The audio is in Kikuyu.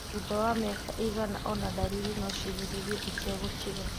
Thutha wa mĩaka ĩigana ona, ndariri nociĩhĩrĩrie itegũtiga